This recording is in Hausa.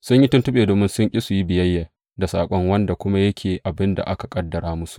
Sun yi tuntuɓe domin sun ƙi su yi biyayya da saƙon, wanda kuma yake abin da aka ƙaddara musu.